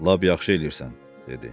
Lap yaxşı eləyirsən, dedi.